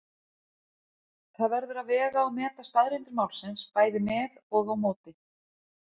Það verður að vega og meta staðreyndir málsins bæði með og á móti.